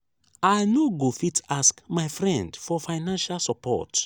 i no go fit ask my friend for financial support